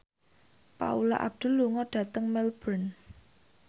Paula Abdul lunga dhateng Melbourne